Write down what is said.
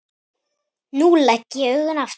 Nú legg ég augun aftur.